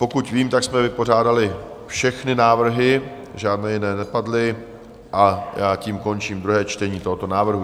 Pokud vím, tak jsme vypořádali všechny návrhy, žádné jiné nepadly, a já tím končím druhé čtení tohoto návrhu.